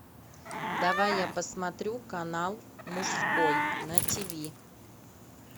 давай я посмотрю канал мужской на тв